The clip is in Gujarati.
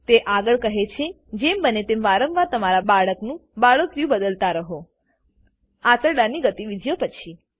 તે આગળ કહે છે જેમ બને તેમ વારંવાર તમારા બાળકનું બાળોતિયું બદલતા રહો આંતરડાંની ગતિવિધિઓ પછી